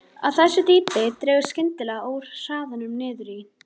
Á þessu dýpi dregur skyndilega úr hraðanum niður í